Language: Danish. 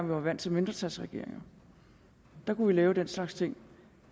var vant til mindretalsregeringer der kunne vi lave den slags ting